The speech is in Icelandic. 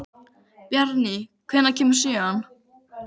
Bjarný, hvenær kemur sjöan?